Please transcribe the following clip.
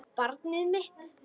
Barnið mitt.